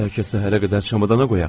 Bəlkə səhərə qədər şamadana qoyaq?